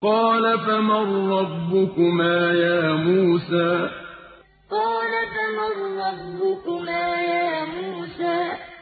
قَالَ فَمَن رَّبُّكُمَا يَا مُوسَىٰ قَالَ فَمَن رَّبُّكُمَا يَا مُوسَىٰ